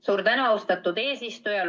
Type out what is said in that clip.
Suur tänu, austatud eesistuja!